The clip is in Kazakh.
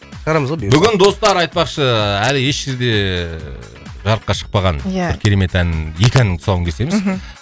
шығарамыз ғой бұйырса бүгін достар айтпақшы әлі еш жерде ііі жарыққа шықпаған иә бір керемет ән екі әннің тұсауын кесеміз мхм